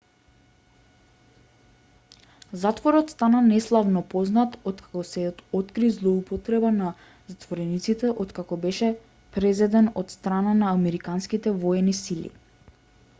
затворот стана неславно познат откако се откри злоупотреба на затворениците откако беше презеден од страна на американските воени сили